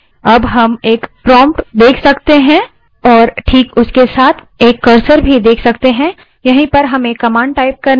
अब हम एक prompt $ देख सकते हैं और this उसके साथ एक cursor भी देख सकते हैं यहीं पर हमें command type करनी है